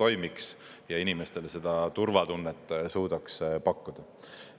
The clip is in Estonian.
toimiks ja inimestele seda turvatunnet suudaks pakkuda.